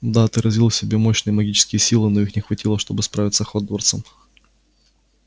да ты развил в себе мощные магические силы но их не хватило чтобы справиться с хогвартсом